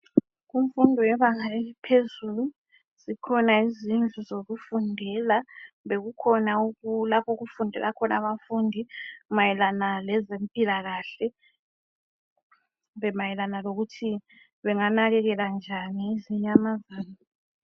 Kunfundo yebanga eliphezulu zikhona izindlu zokufundela ,kumbe kukhona lapho okufundela khona abafundi mayelana ngezempilakahle. Kumbe mayelana lokuthi benganakekela njani izinyamazana.